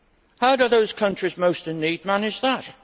How do those countries most in need manage that?